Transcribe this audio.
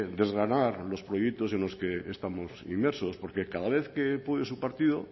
de desgranar los proyectos en los que estamos inmersos porque cada vez que puede su partido